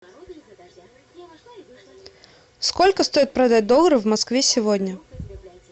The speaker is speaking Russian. сколько стоит продать доллары в москве сегодня